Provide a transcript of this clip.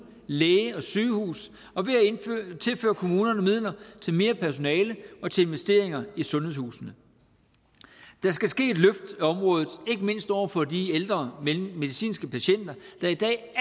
læge og sygehus og ved at tilføre kommunerne midler til mere personale og til investeringer i sundhedshusene der skal ske et løft af området ikke mindst over for de ældre medicinske patienter der i dag